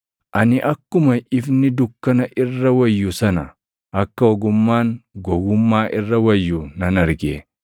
Ani akkuma ifni dukkana irra wayyu sana, akka ogummaan gowwummaa irra wayyu nan arge.